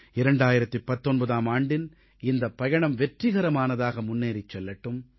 2019ஆம் ஆண்டின் இந்தப் பயணம் வெற்றிகரமானதாக முன்னேறிச் செல்லட்டும்